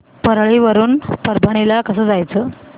परळी वरून परभणी ला कसं जायचं